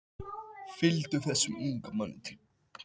Fylgdu þessum unga manni til borðhúss.